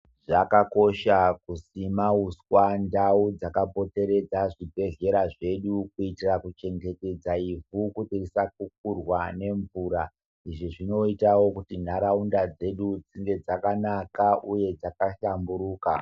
Zvakakosha kusima uswa ndau dzakapoteredza zvibhedhlera zvedu kuitira kuchengetedza ivhu kuti risakukurwa nemvura izvi zvinoitawo kuti nharaunda dzedu dzinge dzakanaka uye dzaka hlamburuka.